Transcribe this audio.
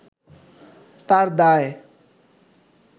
তার দায়